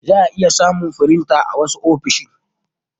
za'a iya samun firinta a wasu ofisoshi.